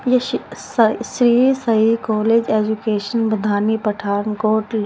ये शि सा श्री साई कॉलेज एजुकेशन बढ़ानी पठानकोट ल--